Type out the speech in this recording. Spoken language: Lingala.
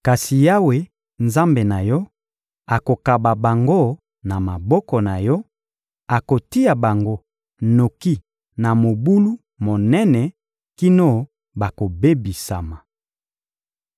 Kasi Yawe, Nzambe na yo, akokaba bango na maboko na yo, akotia bango noki na mobulu monene kino bakobebisama.